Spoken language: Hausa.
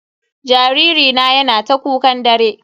Jariri na yana ta kukan dare.